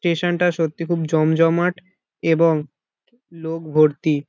Station টা সত্যি খুব জমজমাট এবং কি লোক ভর্তি।